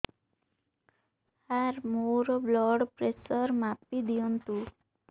ସାର ମୋର blood pressure ମାପି ଦିଅନ୍ତୁ